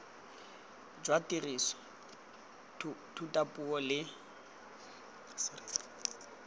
jwa tiriso ya thutapuo le